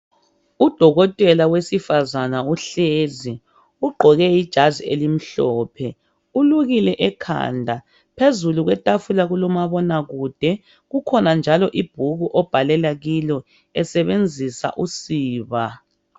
Udokotela wesifazane uhlezi, ugqoke ijazi elimhlophe. Ulukile ekhanda, phezulu kwetafula kulomabonakude. Kukhona njalo ibhuku obhalela kilo esebenzisa usiba.